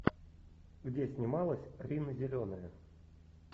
где снималась рина зеленая